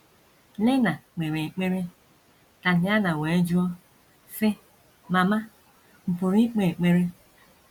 Lena kpere ekpere, Tatiana wee jụọ, sị: “ Mama, m̀ pụrụ ikpe ekpere? ”